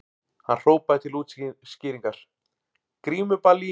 Hann hrópaði til útskýringar:- Grímuball í